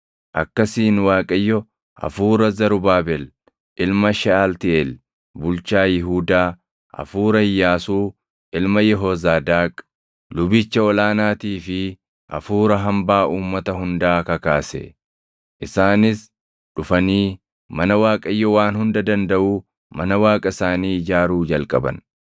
Akkasiin Waaqayyo hafuura Zarubaabel ilma Sheʼaltiiʼeel bulchaa Yihuudaa, hafuura Iyyaasuu ilma Yehoozaadaaq lubicha ol aanaatii fi hafuura hambaa uummata hundaa kakaase. Isaanis dhufanii mana Waaqayyo Waan Hunda Dandaʼuu, mana Waaqa isaanii ijaaruu jalqaban;